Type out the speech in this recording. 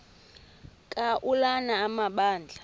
ka ulana amabandla